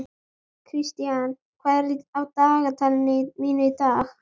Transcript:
Kristian, hvað er á dagatalinu mínu í dag?